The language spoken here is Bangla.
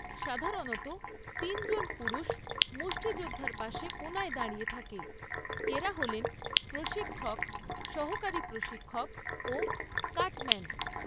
সাধারণত, তিনজন পুরুষ মুষ্ঠিযোদ্ধার পাশে কোণায় দাঁড়িয়ে থাকে, এরা হলেন প্রশিক্ষক, সহকারী প্রশিক্ষক ও কাটম্যান।